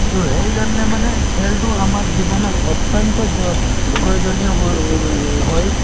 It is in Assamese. তো সেইকাৰণে মানে খেলটো আমাৰ জীৱনত অত্যন্তই জ প্ৰয়োজনীয় হয় |